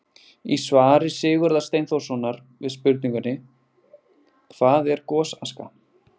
Í svari Sigurðar Steinþórssonar við spurningunni: Hvað er gosaska?